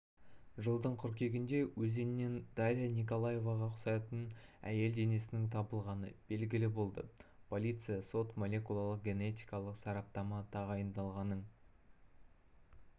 жылдың қыркүйегінде өзеннен дарья николаеваға ұқсайтын әйел денесінің табылғаны белгілі болды полиция сот-молекулярлық генетикалық сараптама тағайындалғанын